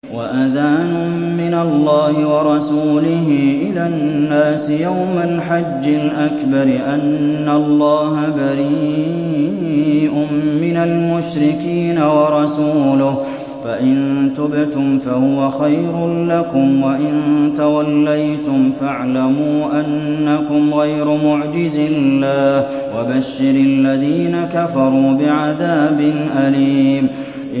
وَأَذَانٌ مِّنَ اللَّهِ وَرَسُولِهِ إِلَى النَّاسِ يَوْمَ الْحَجِّ الْأَكْبَرِ أَنَّ اللَّهَ بَرِيءٌ مِّنَ الْمُشْرِكِينَ ۙ وَرَسُولُهُ ۚ فَإِن تُبْتُمْ فَهُوَ خَيْرٌ لَّكُمْ ۖ وَإِن تَوَلَّيْتُمْ فَاعْلَمُوا أَنَّكُمْ غَيْرُ مُعْجِزِي اللَّهِ ۗ وَبَشِّرِ الَّذِينَ كَفَرُوا بِعَذَابٍ أَلِيمٍ